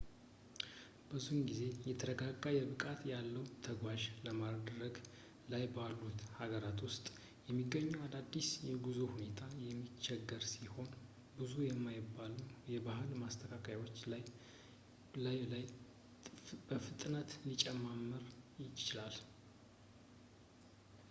ብዙ ጊዜ የተረጋጋ ብቃት ያለው ተጓዥ በማደግ ላይ ባሉት ሀገራት ውስጥ በሚገኘው አዳዲስ የጉዞ ሁኔታ የሚቸገር ሲሆን ብዙ የማይባሉም የባህል ማስተካከያዎች በላይ በላይ በፍጥነት ሊጨማመር ይችላል